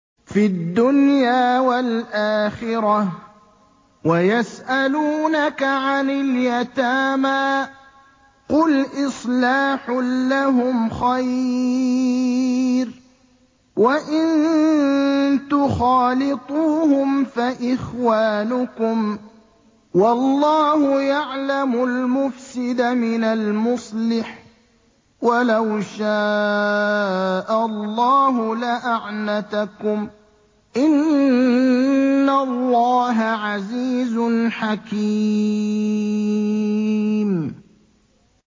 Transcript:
فِي الدُّنْيَا وَالْآخِرَةِ ۗ وَيَسْأَلُونَكَ عَنِ الْيَتَامَىٰ ۖ قُلْ إِصْلَاحٌ لَّهُمْ خَيْرٌ ۖ وَإِن تُخَالِطُوهُمْ فَإِخْوَانُكُمْ ۚ وَاللَّهُ يَعْلَمُ الْمُفْسِدَ مِنَ الْمُصْلِحِ ۚ وَلَوْ شَاءَ اللَّهُ لَأَعْنَتَكُمْ ۚ إِنَّ اللَّهَ عَزِيزٌ حَكِيمٌ